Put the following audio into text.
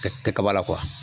Kɛ kɛ kaba la